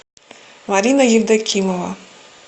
марина евдокимова